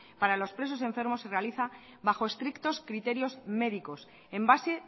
para los presos enfermos se realiza bajo estrictos criterios médicos en base